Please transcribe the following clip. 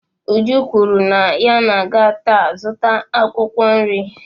Uju kwuru na ya ga-aga taa zụta akwukwo nri